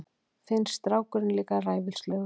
Finnst strákurinn líka ræfilslegur.